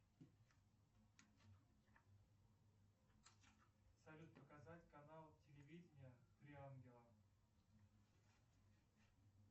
салют показать канал телевидения три ангела